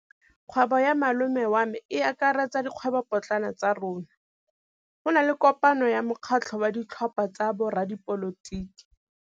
Kgwêbô ya malome wa me e akaretsa dikgwêbôpotlana tsa rona. Go na le kopanô ya mokgatlhô wa ditlhopha tsa boradipolotiki.